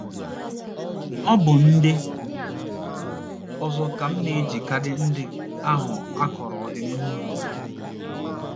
Ọ bụ ndị ọzọ ka m na - eji kaadị ndị ahụ akọrọ ọdịnihu ha.